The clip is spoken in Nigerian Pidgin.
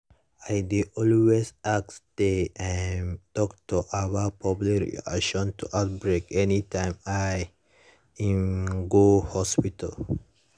i dey always ask the um doctor about public reaction to outbreak anytime i um go hospital